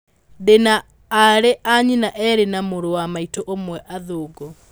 "Ndĩ na aarĩ a nyina erĩ na mũrũ wa maitũ ũmwe athũngũ.